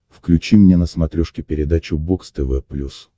включи мне на смотрешке передачу бокс тв плюс